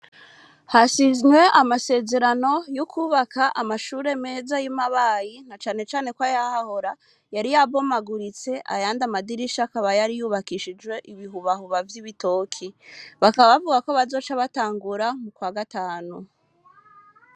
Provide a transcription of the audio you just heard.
Hasizwe amasezerano, y’ukwubaka amashure meza, y’i Mabayi, na cane cane ko, ayahahora, yari yabomagurotse ayandi amadirisha akaba yari yubakishijwe ibihubahuba vy’ibitoki; bakaba bavuga ko bazoca batangura mu kwa gatanu.